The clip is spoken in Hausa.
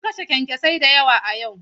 Sun kashe kyankyasai da yawa a yau.